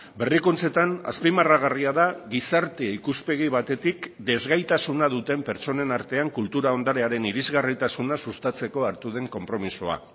berrikuntzetan azpimarragarria da gizarte ikuspegi batetik desgaitasuna duten pertsonen artean kultura ondarearen irisgarritasuna sustatzeko hartu den konpromisoa